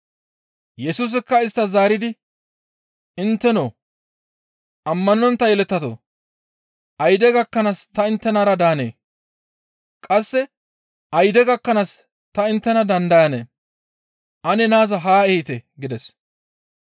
Yesusikka isttas zaaridi, «Intteno ammanontta yeletatoo, ayde gakkanaas ta inttenara daanee? Qasse ayde gakkanaas ta inttena dandayanee? Ane naaza haa ehite» gides.